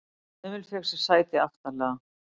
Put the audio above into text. Emil fékk sér sæti aftarlega.